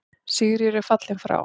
Sigríður er fallin frá.